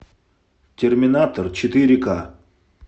терминатор четыре ка